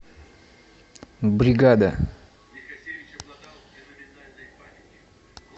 бригада